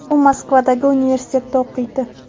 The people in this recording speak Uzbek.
U Moskvadagi universitetda o‘qiydi.